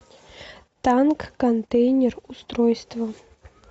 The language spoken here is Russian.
танк контейнер устройство